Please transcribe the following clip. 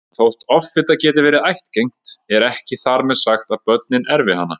Þótt offita geti verið ættgeng er ekki þar með sagt að börnin erfi hana.